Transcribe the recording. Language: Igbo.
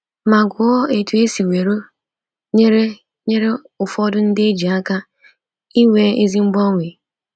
Ma gụọ otú e siworo nyere nyere ụfọdụ ndị e ji aka inwe ezi mgbanwe.